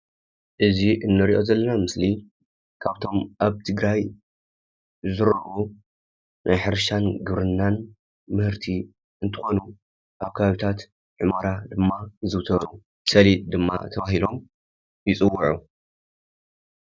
እዙይ እንርእዮ ዘለና ምስሊ ካብቶም ኣብ ትግራይ ዝዝርኡ ናይ ሕርሻን ግብርናን ምህርቲ እንትኮኑ ኣብ ከባቢታት ሑመራ ድማ ይዝውተሩ። ሰሊጥ ድማ ተባሂሎም ይፅውዑ።